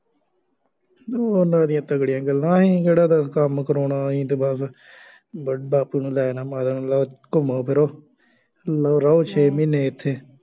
ਉਹਨਾ ਦੀਆਂ ਤਕੜੀਆਂ ਗੱਲਾਂ, ਅਸੀਂ ਕਿਹੜਾ ਦੱਸ ਕੰੰਮ ਕਰਾਉਣਾ, ਅਸੀਂ ਤਾਂ ਬੱਸ ਬੇਬੇ ਬਾਪੂ ਨੂੰ ਲੈ ਜਾਣਾ ਲਉ ਘੁੰਮੋ ਫਿਰੋ, ਲਉ ਰਹੋ ਛੇ ਮਹੀਨੇ ਇੱਥੇ